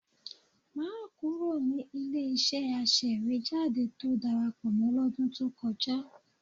Má kúrò ní ilé-iṣẹ́ aṣèwéjádé tó darapọ̀ mọ́ lọ́dún tó kọjá